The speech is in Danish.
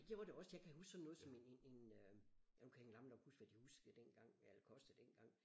Og det gjorde det også jeg kan huske sådan noget som en en en øh ja nu kan jeg egentlig gammel nok huske hvad de huskede den dengang hvad det kostede dengang